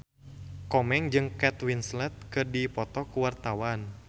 Komeng jeung Kate Winslet keur dipoto ku wartawan